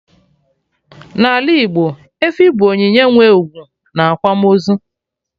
n'ala Igbo, efi bụ onyinye nwe ugwu na akwamaozu